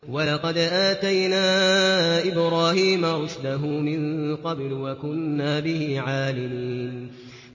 ۞ وَلَقَدْ آتَيْنَا إِبْرَاهِيمَ رُشْدَهُ مِن قَبْلُ وَكُنَّا بِهِ عَالِمِينَ